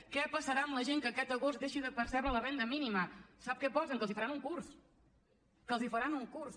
què passarà amb la gent que aquest agost deixi de percebre la renda mínima sap què posen que els faran un curs que els faran un curs